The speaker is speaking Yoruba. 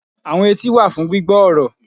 Àwọn etí wà fún gbígbọ́ ọ̀rọ̀